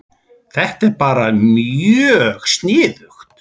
Þetta er bara mjög sniðugt